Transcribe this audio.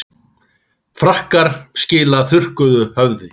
Frakkar skila þurrkuðu höfði